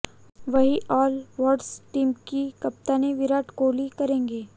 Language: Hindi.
वहीं ऑल हार्ट्स टीम की कप्तानी विराट कोहली करेंगे